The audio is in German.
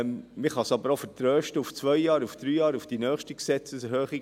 Man kann aber auch vertrösten auf zwei Jahre, auf drei Jahre, auf die nächste Gesetzeserhöhung.